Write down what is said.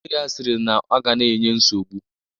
Nne ya sịrị na ọ ga na-enye nsogbu